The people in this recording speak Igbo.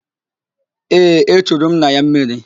Ee, echuru m nna ya mmiri